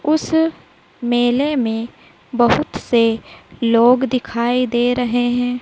उस मेले में बहुत से लोग दिखाई दे रहे हैं।